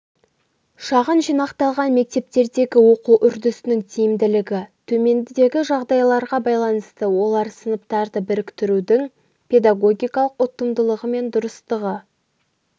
шағын жинақталған мектептердегі оқу үрдісінің тиімділігі төмендегі жағдайларға байланысты олар сыныптарды біріктірудің педагогикалық ұтымдылығы мен дұрыстығы